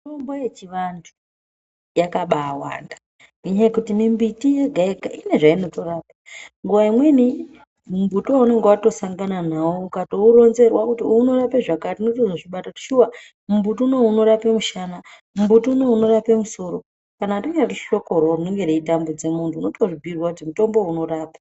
Mitombo yechivanthu yakabawanda ngenyaya yekuti mimbiti yega yega ine zvainotorapa nguwa imweni mumbuti waunenge watosangana nawo ukauronzerwa kuti uwu unorapa zvakati unotozvibata kuti shuwa mumbuti unowu unorapa mushana, mumbuti unowu unorapa musoro kana rinyari hlokoro rinenge reitambudze munthu unotozvibhiirwa kuti mutombo uwu unorapa.